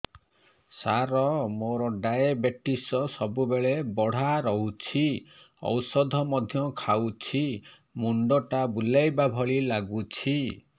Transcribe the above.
ସାର ମୋର ଡାଏବେଟିସ ସବୁବେଳ ବଢ଼ା ରହୁଛି ଔଷଧ ମଧ୍ୟ ଖାଉଛି ମୁଣ୍ଡ ଟା ବୁଲାଇବା ଭଳି ଲାଗୁଛି